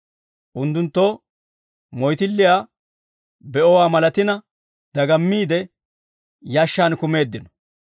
Unttunttoo moyttilliyaa be'owaa malatina dagammiide, yashshaan kumeeddino.